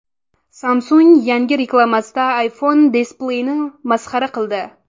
Samsung yangi reklamasida iPhone displeyini masxara qildi.